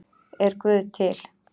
Er guð til